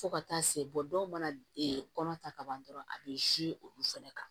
Fo ka taa se dɔw mana kɔnɔ ta ka ban dɔrɔn a bɛ olu fɛnɛ kan